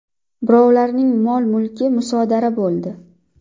Birovlarning mol-mulki musodara bo‘ldi.